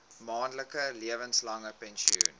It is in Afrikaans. maandelikse lewenslange pensioen